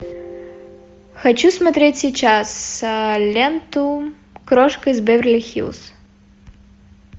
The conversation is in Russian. хочу смотреть сейчас ленту крошка из беверли хиллз